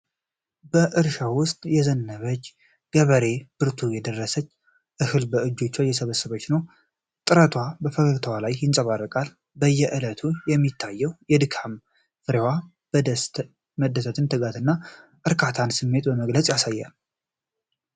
በእርሻው ውስጥ ያዘነበለች ገበሬዋ በብርቱ የደረሰውን እህል በእጆቿ እየሰበሰበች ነው። ጥረቷ በፈገግታዋ ላይ ይንጸባረቃል፤ በየእለቱ በሚታየው የድካም ፍሬዋ መደሰትን፣ የትጋትንና የእርካታን ስሜት በግልጽ ታሳያለች።